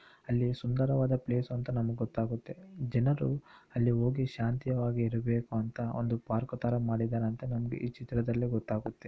ಅಲ್ಲಿ ಸುಂದರವಾದ ಪ್ಲೇಸ್ ಅಂತ ನಮಿಗ್ ಗೊತ್ತಾಗುತ್ತೆ ಜನರು ಅಲ್ಲಿ ಹೋಗಿ ಶಾಂತಿಯವಾಗಿ ಇರಬೇಕು ಅಂತ ಒಂದು ಪಾರ್ಕ್ ಥರ ಮಾಡಿದಾರ್ ಅಂತ ನಂಗೆ ಈ ಚಿತ್ರದಲ್ಲಿ ಗೊತ್ತಾಗುತ್ತೆ.